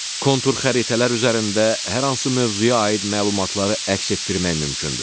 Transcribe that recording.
Kontur xəritələr üzərində hər hansı mövzuya aid məlumatları əks etdirmək mümkündür.